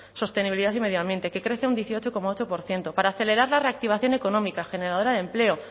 sostenibilidad y medio ambiente que crece a un dieciocho coma ocho por ciento para acelerar la reactivación económica generadora de empleo